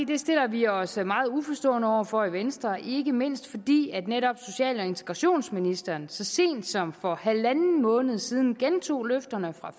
det stiller vi os meget uforstående over for i venstre ikke mindst fordi netop social og integrationsministeren så sent som for halvanden måned siden gentog løfterne fra